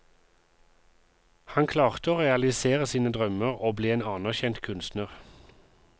Han klarte å realisere sine drømmer og ble en anerkjent kunstner.